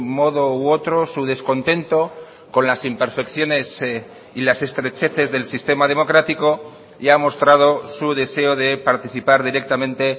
modo u otro su descontento con las imperfecciones y las estrecheces del sistema democrático y ha mostrado su deseo de participar directamente